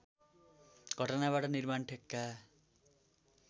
घटनाबाट निर्माण ठेक्का